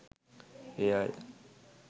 ඒ අය